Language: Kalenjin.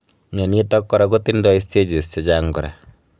Mnyanitok kora kotindoi stages chechang kora